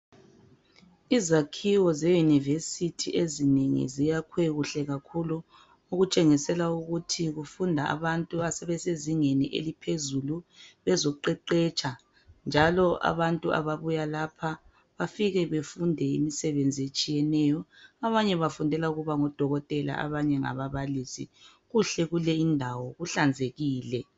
Izakhiwo zeyunivesithi ezinengi ziyakhwe kuhle kakhulu okutshengisela ukuthi kufunda abantu abasezingeni eliphezulu abazoqeqetsha njalo abantu a abuya lapha bafike bafundele imisebenzi etshiyeneyo, abanye bafundele Ukuba ngodokotela abanye ngababalisi. Kuhle kuleyindawo kuhlanzekile.